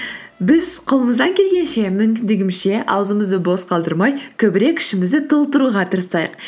біз қолымыздан келгенше мүмкіндігімізше аузымызды бос қалдырмай көбірек ішімізді толтыруға тырысайық